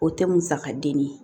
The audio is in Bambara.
O tɛ musaka den ye